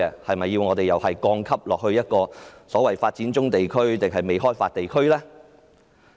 我們是否要把香港降級至一個所謂發展中地區還是未開發地區呢？